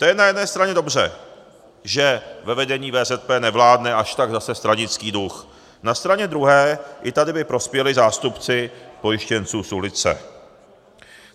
To je na jedné straně dobře, že ve vedení VZP nevládne až tak zase stranický duch, na straně druhé i tady by prospěli zástupci pojištěnců z ulice.